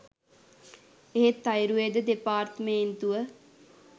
එහෙත් ආයුර්වේද දෙපාර්තමේන්තුව